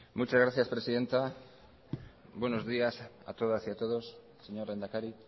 muchas gracias presidenta buenos días a todas y a todos señor lehendakari